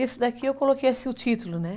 Esse daqui eu coloquei assim o título, né?